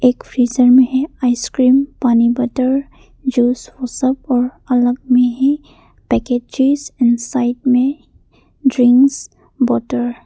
एक फ्रीजर में है आइसक्रीम पानी बॉटल जूस और सब और अलग में ही पैकेजेज इन साइड में ड्रिंग्स वाटर --